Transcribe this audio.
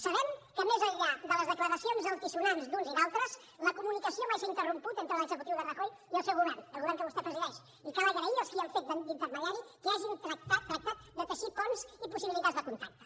sabem que més enllà de les declaracions altisonants d’uns i d’altres la comunicació mai s’ha interromput entre l’executiu de rajoy i el seu govern el govern que vostè presideix i cal agrair als qui han fet d’intermediaris que hagin tractat de teixir ponts i possibilitats de contacte